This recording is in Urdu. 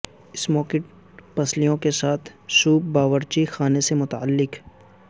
سموکڈ پسلیوں کے ساتھ سوپ باورچی خانے سے متعلق